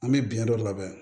An bɛ biɲɛ dɔ labɛn